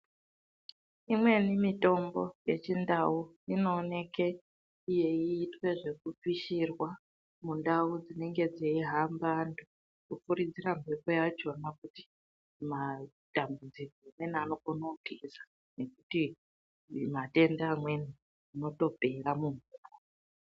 Imweni mitombo yechindau inooneke yeiite zvekupishirwa mundau dzinenge dzeihamba antu, kufuridzira mhepo yakhona kuti matambudziko amweni anokone kutiza ngekuti matenda amweni anotopera.